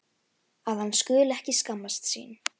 Að hann skuli ekki skammast sín.